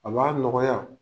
A b'a nɔgɔya.